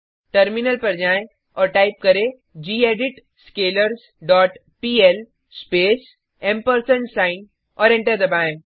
terminal पर जाएँ और टाइप करें gedit scalars dot PL space और एंटर दबाएँ